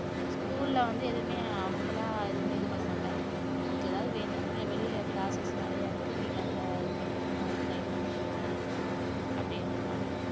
school ல வந்து எதுவுமே அவங்களா எதுவுமே இது பண்ண மாட்டாங்க உங்களுக்கு ஏதாவது வேணும்னா நீங்க வெளியில நிறை classes நிறைய இருக்கு நீங்க அதுல இது பண்ணிக்குங்க train பண்ணிக்குங்க அப்படின்றுவாங்க